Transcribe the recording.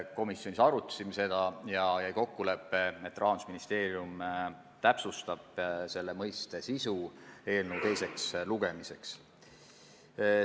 Komisjonis me arutasime seda ja jäi kokkulepe, et Rahandusministeerium täpsustab selle mõiste sisu eelnõu teiseks lugemiseks.